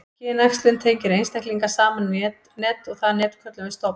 kynæxlun tengir einstaklinga saman í net og það net köllum við stofn